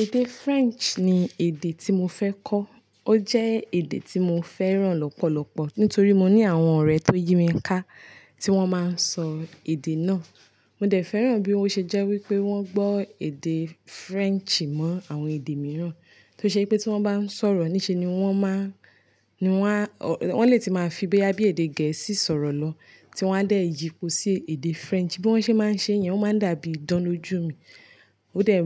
Èdè French ni èdè tí mo fẹ́ kọ́. Ó jẹ́ èdè tí mo fẹ́ràn lọ́pọ̀lọpọ̀ nítorí mọ ní àwọn ọ̀rẹ́ tó yí mi ká tí wọ́n máa ń sọ èdè náà. Mo dẹ̀ fẹ́ràn bí ó ṣe jẹ́ wípé wọ́n gbọ́ èdè French mọ́ àwọn èdè mìíràn, tó ṣe pé tí wọ́n bá ń sọ̀rọ̀ ní ṣe ni wọ́n máa, ni wọ́n a, wọ́n lè tí máa fi bíi bóyá bíi èdè gẹ̀ẹ́sì sọ̀rọ̀ lọ tí wá dẹ̀ yípo sí èdè French. Bí wọ́n ṣe máa ń ṣe yẹn, ó máa ń dàbí idán ló jù mi. Ó dẹ̀,